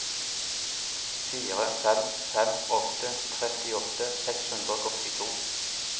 fire fem fem åtte trettiåtte seks hundre og åttito